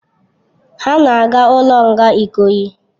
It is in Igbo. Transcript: Ha na aga ulo nga ikoyi